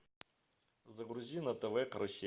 загрузи на тв карусель